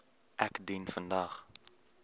ek dien vandag